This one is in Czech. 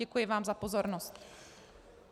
Děkuji vám za pozornost.